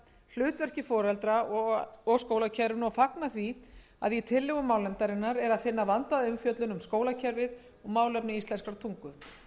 huga að hlutverki foreldra og skólakerfinu og fagna því að í tillögum málnefndar er að finna vandaða umfjöllun um skólakerfið og málefni íslenskrar tungu